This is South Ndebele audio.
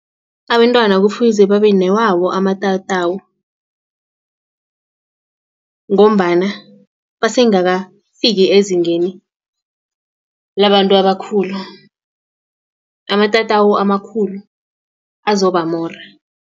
Abentwana kufuze babenewawo amatatawu. Ngombana basengakafiki ezingeni labantu abakhulu amatatawu amakhulu azobamora.